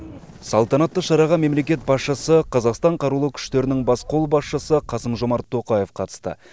салтанатты шараға мемлекет басшысы қазақстан қарулы күштерінің бас қолбасшысы қасым жомарт тоқаев қатысты